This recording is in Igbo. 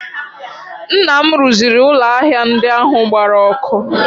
Nna m rụziri ụlọ ahịa ndị ahụ gbara ọkụ